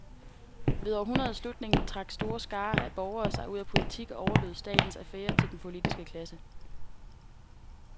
Ved århundredets slutning trak store skarer af borgere sig ud af politik og overlod statens affærer til den politiske klasse.